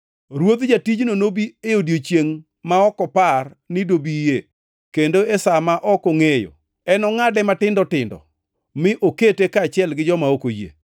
Ruodh jatijno nobi e odiechiengʼ ma ok opar ni dobie kendo e sa ma ok ongʼeyo, enongʼade matindo tindo mi okete kaachiel gi joma ok oyie.